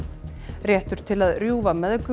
réttur til að rjúfa meðgöngu